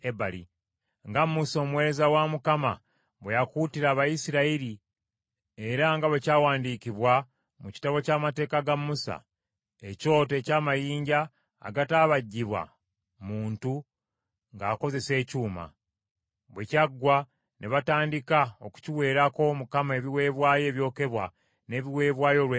Nga Musa omuweereza wa Mukama bwe yakuutira Abayisirayiri era nga bwe kyawandiikibwa mu kitabo ky’amateeka ga Musa, “Ekyoto eky’amayinja agataabajjibwa muntu ng’akozesa ekyuma.” Bwe kyaggwa ne batandika okukiweerako Mukama ebiweebwayo ebyokebwa n’ebiweebwayo olw’emirembe.